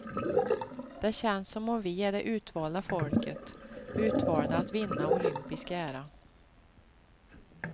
Det känns som om vi är det utvalda folket, utvalda att vinna olympisk ära.